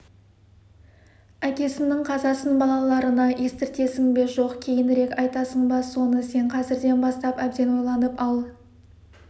әкесінің қазасын балаларына естіртесің бе жоқ кейінірек айтасың ба соны сен қазірден бастап әбден ойланып ал